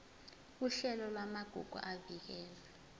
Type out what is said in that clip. uhlelo lwamagugu avikelwe